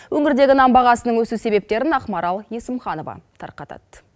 өңірдегі нан бағасының өсу себептерін ақмарал есімханова тарқатады